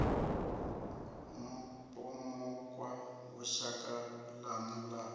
mupomokwa hu shaka ḽanu ḽa